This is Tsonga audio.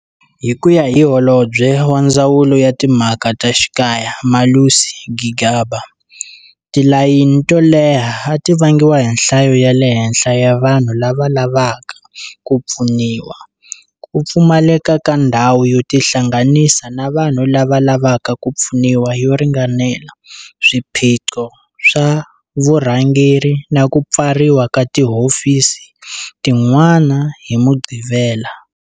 Hi ku ya hi Holobye wa Ndzawulo ya Timhaka ta Xikaya Malusi Gigaba, tilayini to leha a ti vangiwa hi nhlayo ya le henhla ya vanhu lava lavaka ku pfuniwa, ku pfumaleka ka ndhawu yo tihlanganisa na vanhu lava lavaka ku pfuniwa yo ringanela, swiphiqo swa vurhangeri na ku pfariwa ka tihofisi tin'wana hi Mugqivela.